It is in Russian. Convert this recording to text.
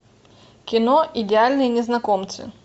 кино идеальные незнакомцы